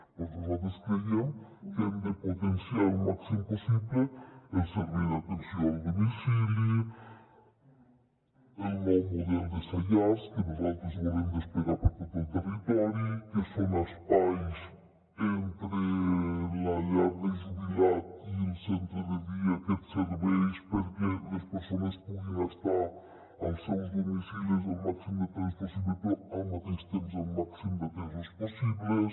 doncs nosal·tres creiem que hem de potenciar al màxim possible el servei d’atenció al domicili el nou model de saiars que nosaltres volem desplegar per tot el territori que són espais entre la llar del jubilat i el centre de dia que et serveix perquè les persones puguin estar als seus domicilis el màxim de temps possible però al mateix temps el màxim d’atesos possible